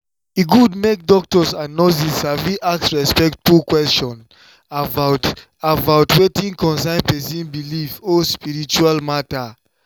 e good make doctors and nurses sabi ask respectful question about about wetin concern person belief or spiritual matter.